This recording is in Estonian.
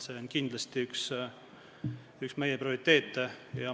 See on kindlasti üks meie prioriteete.